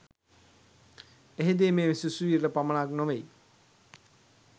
එහිදී මේ සිසුවියට පමණක් නොවෙයි